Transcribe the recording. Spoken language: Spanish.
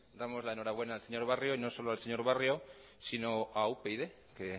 damos la enhorabuena al señor barrio y no solo al señor barrio sino a upyd que